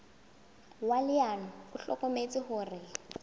wa leano o hlokometse hore